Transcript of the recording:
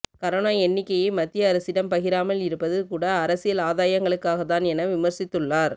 corona எண்ணிக்கையை மத்திய அரசிடம் பகிராமல் இருப்பது கூட அரசியல் ஆதாயங்களுக்காக தான் என விமர்சித்துள்ளார்